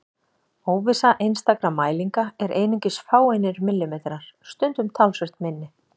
Óvissa einstakra mælinga er einungis fáeinir millimetrar, stundum talsvert minni.